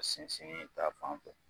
Sinsinni' ta fanfɛ